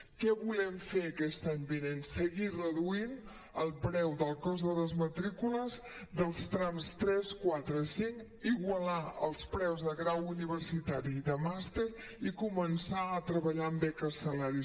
què volem fer aquest any vinent seguir reduint el preu del cost de les matrícules dels trams tres quatre cinc igualar els preus de grau universitari i de màster i començar a treballar en beques salari